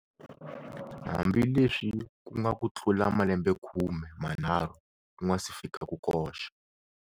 Hambileswi ku nga ku tlula malembekhume manharhu ku nga si fika ku koxa.